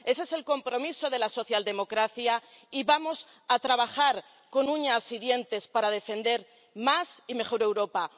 Ese es el compromiso de la socialdemocracia, y vamos a trabajar con uñas y dientes para defender más y mejor Europa.